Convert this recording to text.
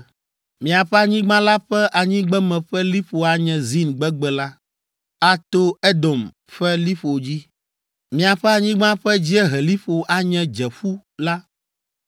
“ ‘Miaƒe anyigba la ƒe anyigbeme ƒe liƒo anye Zin gbegbe la, ato Edom ƒe liƒo dzi. Miaƒe anyigba ƒe dzieheliƒo anye Dzeƒu la,